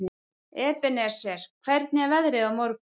Ebeneser, hvernig er veðrið á morgun?